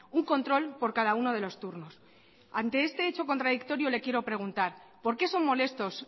un control por cada uno de los turnos ante este hecho contradictorio le quiero preguntar por qué son molestos